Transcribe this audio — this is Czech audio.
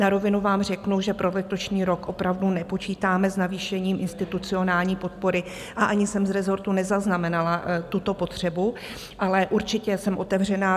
Na rovinu vám řeknu, že pro letošní rok opravdu nepočítáme s navýšením institucionální podpory a ani jsem z rezortu nezaznamenala tuto potřebu, ale určitě jsem otevřená.